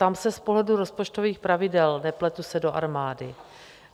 Ptám se z pohledu rozpočtových pravidel, nepletu se do armády.